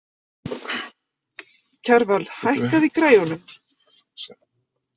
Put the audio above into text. Kjarval, hækkaðu í græjunum.